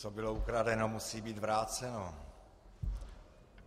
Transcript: Co bylo ukradeno, musí být vráceno.